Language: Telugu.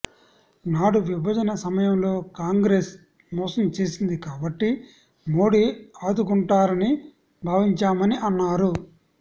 నాడు విభజన సమయంలో కాంగ్రెస్ మోసం చేసింది కాబట్టి మోడీ ఆదుకుంటారని భావించామని అన్నారు